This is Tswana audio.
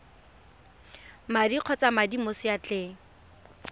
madi kgotsa madi mo seatleng